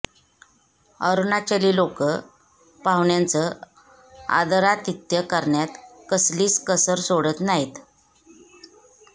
अरुणाचली लोकं पाहुण्यांचं आदरातिथ्य करण्यात कसलीच कसर सोडत नाहीत